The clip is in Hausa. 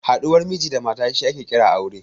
Haɗuwar Miji da mata shi ake kira aure